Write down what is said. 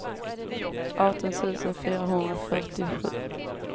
arton tusen fyrahundrafyrtiosju